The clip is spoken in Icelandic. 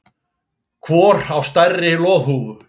Hvor á stærri loðhúfu